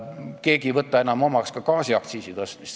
Keegi ei võta enam omaks ka gaasiaktsiisi tõstmist.